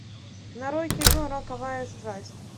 нарой кино роковая страсть